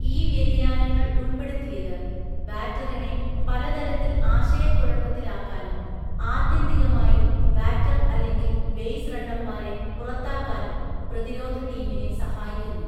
ഈ വ്യതിയാനങ്ങൾ ഉൾപ്പെടുത്തിയത് ബാറ്ററിനെ പല തരത്തിൽ ആശയക്കുഴപ്പത്തിലാക്കാനും ആത്യന്തികമായി ബാറ്റർ അല്ലെങ്കിൽ ബേസ് റണ്ണർമാരെ പുറത്താക്കാനും പ്രതിരോധ ടീമിനെ സഹായിക്കുന്നു.